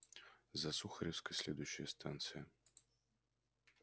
за сухаревской следующая станция